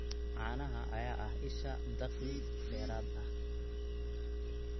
Caanaha ayaa ah isha dakhli dheeraad ah.